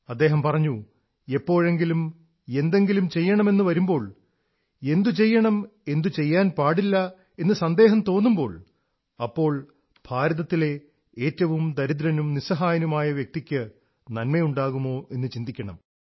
അദ്ദേഹം പറഞ്ഞു എപ്പോഴെങ്കിലും എന്തെങ്കിലും ചെയ്യണമെന്നുവരുമ്പോൾ എന്തു ചെയ്യണം എന്തു ചെയ്യാൻ പാടില്ല എന്ന് സന്ദേഹം തോന്നിയാൽ അപ്പോൾ ഭാരതത്തിലെ ഏറ്റവും ദരിദ്രനും നിസ്സഹായനുമായ വ്യക്തിയ്ക്ക് നന്മയുണ്ടാകുമോ എന്ന് ചിന്തിക്കണം